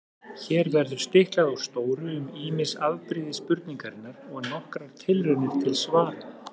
Hér verður stiklað á stóru um ýmis afbrigði spurningarinnar og nokkrar tilraunir til svara.